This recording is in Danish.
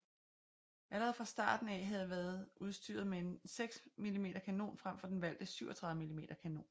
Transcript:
III allerede fra starten af havde været udstyret med en 60 mm kanon frem for den valgte 37 mm kanon